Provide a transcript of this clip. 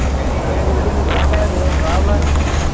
એની